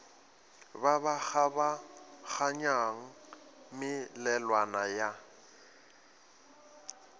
ba ba kgabaganyang melelwane ya